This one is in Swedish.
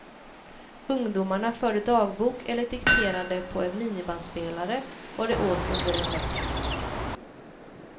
Ungdomarna förde dagbok eller dikterade på en minibandspelare vad de åt under en vecka.